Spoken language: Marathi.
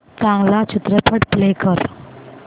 चांगला चित्रपट प्ले कर